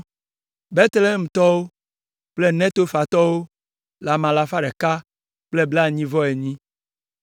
Betlehemtɔwo kple Netofatɔwo le ame alafa ɖeka kple blaenyi-vɔ-enyi (188).